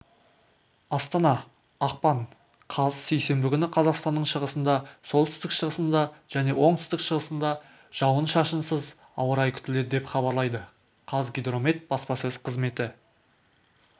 астана ақпан қаз сейсенбі күні қазақстанның шығысында солтүстік-шығысында және оңтүстік-шығысында жауын-шашынсыз ауа райы күтіледі деп хабарлайды қазгидромет баспасөз қызметі